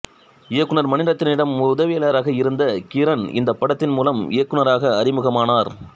இயக்குநர் மணிரத்னத்திடம் உதவியாளராக இருந்த கிரண் இந்தப் படத்தின் மூலம் இயக்குநராக அறிமுகமானார்